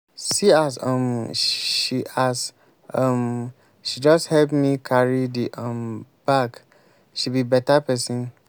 see as um she as um she just help me carry the um bag. she be better person.